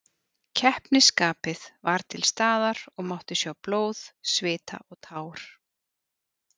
Keppnisskapið var til staðar og mátti sjá blóð, svita og tár.